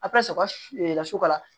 A bɛ sɔrɔ ka lasu ka